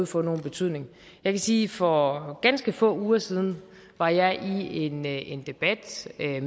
få nogen betydning jeg kan sige at for ganske få uger siden var jeg i en en debat med